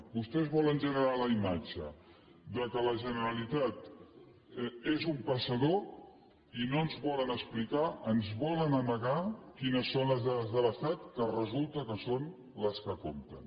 vostès volen generar la imatge que la generalitat és un passador i no ens volen explicar ens volen amagar quines són les dades de l’estat que resulta que són les que compten